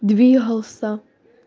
двигался